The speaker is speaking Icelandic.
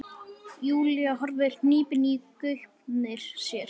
Júlía horfir hnípin í gaupnir sér.